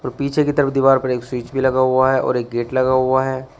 पीछे की तरफ दीवार पर एक स्विच भी लगा हुआ है और एक गेट लगा हुआ है।